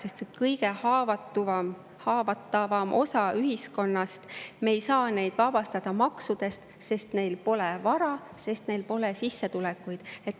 Aga seda kõige haavatavamat osa ühiskonnast me ei saa vabastada maksudest, sest neil pole vara, sest neil pole sissetulekuid.